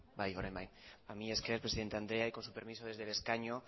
orain bai mila esker presidente andrea y con su permiso desde el escaño